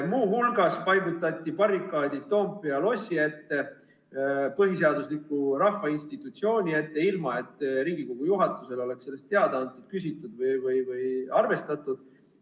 Muu hulgas paigutati barrikaadid Toompea lossi, põhiseadusliku rahvainstitutsiooni ette, ilma et Riigikogu juhatusele oleks sellest teada antud või selle kohta küsitud.